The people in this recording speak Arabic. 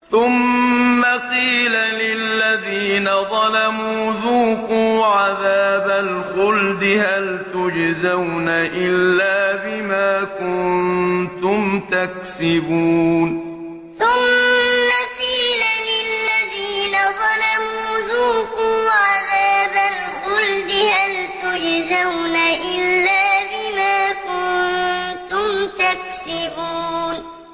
ثُمَّ قِيلَ لِلَّذِينَ ظَلَمُوا ذُوقُوا عَذَابَ الْخُلْدِ هَلْ تُجْزَوْنَ إِلَّا بِمَا كُنتُمْ تَكْسِبُونَ ثُمَّ قِيلَ لِلَّذِينَ ظَلَمُوا ذُوقُوا عَذَابَ الْخُلْدِ هَلْ تُجْزَوْنَ إِلَّا بِمَا كُنتُمْ تَكْسِبُونَ